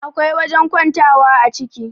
akwai wajen kwantawa a ciki